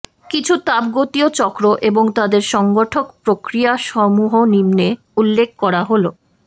কিছু তাপগতীয় চক্র এবং তাদের সংগঠক প্রক্রিয়াসমূহ নিম্নে উল্লেখ করা হলঃ